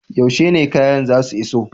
Yaushe ne kayan zasu iso?